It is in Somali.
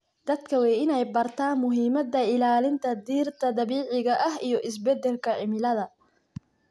Dadka waa in ay bartaan muhiimada ilaalinta dhirta dabiiciga ah iyo isbedelka cimilada.